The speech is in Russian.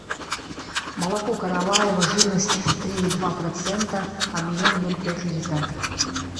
молоко караваево жирность три и два процента объем ноль пять литра